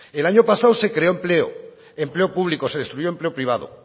el año pasado se creó empleo empleo público se destruyó empleo privado